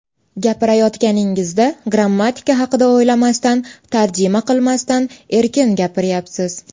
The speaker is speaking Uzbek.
Gapirayotganingizda grammatika haqida o‘ylamasdan, tarjima qilmasdan erkin gapiryapsiz.